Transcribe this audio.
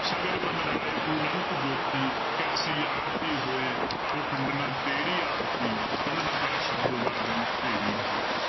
ਸਗਲ ਬਨਰਾਏ ਫੁਲੰਤ ਜੋਤੀ ਕੈਸੀ ਆਰਤੀ ਹੋਏ ਭਵਖੰਡਨਾ ਤੇਰੀ ਆਰਤੀ ਅਨਹਤਾ ਸ਼ਬਦ ਵਾਜੰਤ ਭੇਰੀ ਰਹਾਉ।